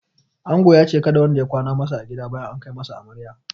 Angon ya ce kada wanda ya kwana masa a gida bayan an kai masa amarya